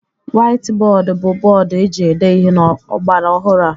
Waiti bọọdụ bụ bọọdụ eji ede ihe n'ọgbaraọhụrụ a.